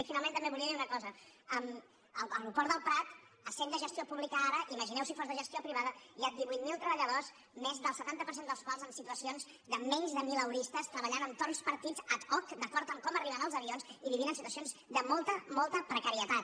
i finalment també volia dir una cosa l’aeroport del port essent de gestió pública ara imagineu si fos de gestió privada hi ha divuit mil treballadors més del setanta per cent dels quals en situacions de menys de mileuristes treballant en torns partits ad hoc d’acord amb com arriben els avions i vivint en situacions de molta molta precarietat